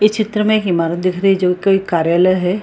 इ चित्र में एक इमारत दिख रही है जो कि कार्यालय है।